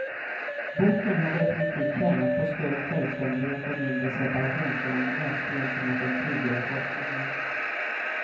Boken hade definitivt tjänat på större självständighet och mindre separationsångest gentemot den tidigare forskningen.